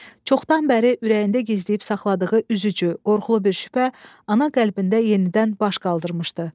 Çoxdan bəri ürəyində gizləyib saxladığı üzücü, qorxulu bir şübhə ana qəlbində yenidən baş qaldırmışdı.